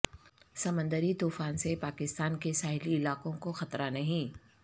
سمندری طوفان سے پاکستان کے ساحلی علاقوں کو خطرہ نہیں